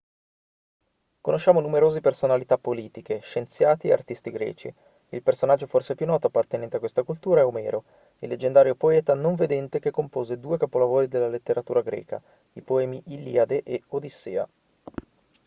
conosciamo numerosi personalità politiche scienziati e artisti greci il personaggio forse più noto appartenente a questa cultura è omero il leggendario poeta non vedente che compose due capolavori della letteratura greca i poemi iliade e odissea